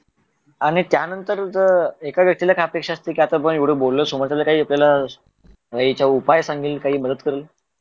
आणि त्यानंतर एका व्यक्तीला अपेक्षा असते आता आपण एवढं बोलो समोरच्याला काही आपल्याला भाई याच्यावर काही उपाय सांगेल याच्यावर काही मदत करेल